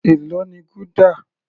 Èló ni gúdà?